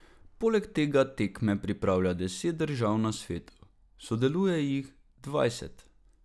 Poleg tega tekme pripravlja deset držav na svetu, sodeluje jih dvajset.